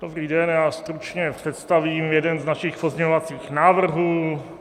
Dobrý den, já stručně představím jeden z našich pozměňovacích návrhů.